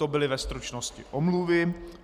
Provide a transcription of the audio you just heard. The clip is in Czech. To byly ve stručnosti omluvy.